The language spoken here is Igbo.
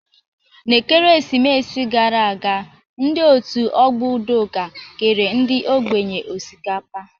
N'ekeresimesi gara aga, ndị Òtù Ọgbọ Udoka kere ndị ogbenye osikapa.